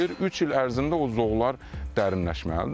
Üç il ərzində o zoğlar dərinləşməlidir.